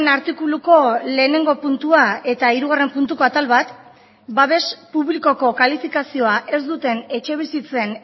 artikuluko lehenengo puntua eta hirugarren puntuko atal bat babes publikoko kalifikazioa ez duten etxebizitzen